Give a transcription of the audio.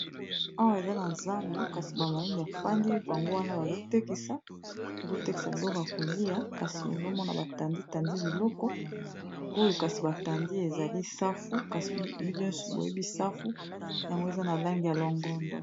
Awa eza na zando kasi ba mama bafandi bango wana bazotekisa biloko ya kolia kasi ozomona batandi tandi biloko oyo kasi batandi ezali safu kasi bino nyonso boyebi safu yango eza na langi ya longondo.